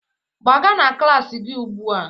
Gbaga na klas gị ugbu a